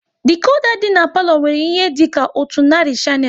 Dikoda dị n'palo nwere ihe dịka otu narị shanel